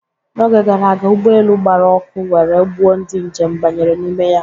N'oge gara aga, ụgbọelu gbara ọkụ were gbuo ndị njem banyere n'ime ya